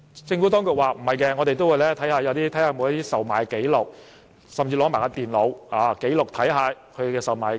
政府當局不認同，它會視乎有否售賣紀錄，甚至會取走電腦，看看售賣紀錄。